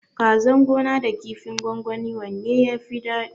Kazan gona da kifin gwangwani wanne yafi dadi?